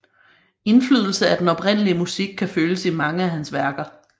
Indflydelse af den oprindelige musik kan føles i mange af hans værker